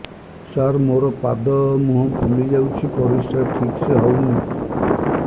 ସାର ମୋରୋ ପାଦ ମୁହଁ ଫୁଲିଯାଉଛି ପରିଶ୍ରା ଠିକ ସେ ହଉନି